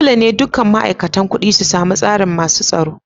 Dolle ne dukan ma'aikatan kudi su samu tsarin masun tsaro.